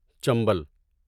Chambal